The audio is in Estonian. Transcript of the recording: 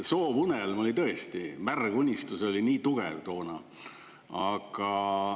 Soovunelm oli tõesti, märg unistus oli nii tugev toona.